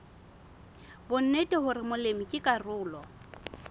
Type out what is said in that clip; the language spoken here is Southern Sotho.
bonnete hore molemi ke karolo